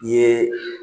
I ye